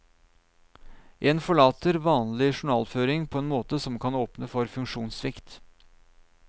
En forlater vanlig journalføring på en måte som kan åpne for funksjonssvikt.